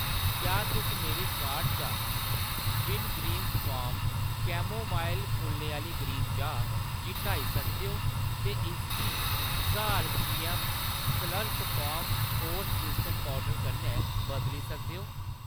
क्या तुस मेरी कार्ट चा विंगग्रीन्स फार्मज़ कैमोमाइल फुल्लें आह्‌ली ग्रीन चाह् गी हटाई सकदे ओ ते इसगी ज्हार जीऐम्म Slurrp Farm oats instant powder कन्नै बदली सकदे ओ